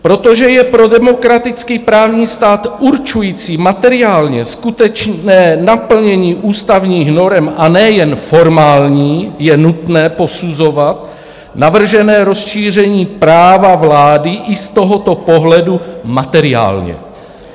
Protože je pro demokraticky právní stát určující materiálně skutečné naplnění ústavních norem, a ne jen formální, je nutné posuzovat navržené rozšíření práva vlády i z tohoto pohledu materiálně."